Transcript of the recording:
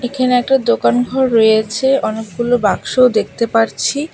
এখানে একটা দোকান ঘর রয়েছে অনেকগুলো বাক্স দেখতে পারছি।